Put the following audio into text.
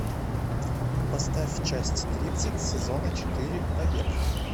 поставь часть тридцать сезона четыре побег